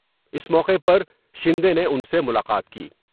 اس موقع پر شندے نے ان سے ملاقات کی ۔